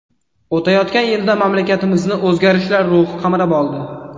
O‘tayotgan yilda mamlakatimizni o‘zgarishlar ruhi qamrab oldi.